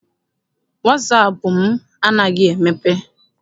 Wasaapụ m anaghị emepe.